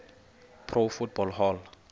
pro football hall